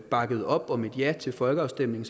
bakkede op om et ja til folkeafstemningen